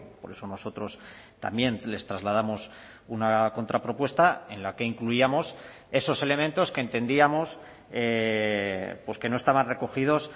por eso nosotros también les trasladamos una contrapropuesta en la que incluíamos esos elementos que entendíamos que no estaban recogidos